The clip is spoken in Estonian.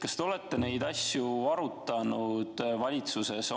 Kas te olete neid asju valitsuses arutanud?